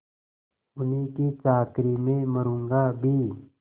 उन्हीं की चाकरी में मरुँगा भी